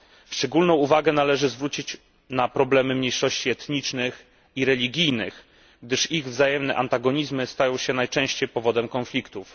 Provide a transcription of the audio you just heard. Szczególną uwagę należy zwrócić na problemy mniejszości etnicznych i religijnych, gdyż ich wzajemne antagonizmy stają się najczęściej powodem konfliktów.